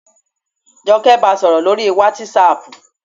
Jọkẹ́ ba sọ̀rọ̀ lórii wátísapù